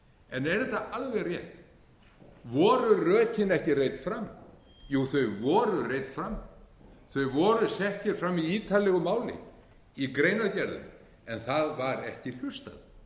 en er þetta alveg rétt voru rökin ekki reidd fram jú þau voru reidd fram þau voru sett hér fram í ítarlegu máli í greinargerðum en það var ekki hlustað